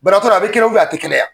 Banabaatɔ don a bɛ kɛnɛya a tɛ kɛnɛya?